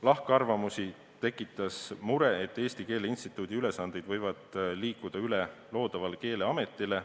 Lahkarvamusi tekitas mure, et Eesti Keele Instituudi ülesanded võivad liikuda üle loodavale Keeleametile.